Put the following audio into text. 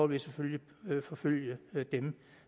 vi selvfølgelig forfølge dem